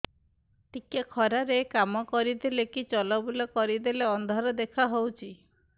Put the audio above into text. ଟିକେ ଖରା ରେ କାମ କରିଦେଲେ କି ଚଲବୁଲା କରିଦେଲେ ଅନ୍ଧାର ଦେଖା ହଉଚି